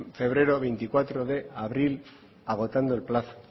febrero veinticuatro de abril agotando el plazo